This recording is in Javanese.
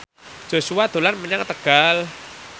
Joshua dolan menyang Tegal